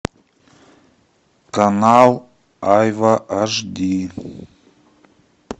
канал айва аш ди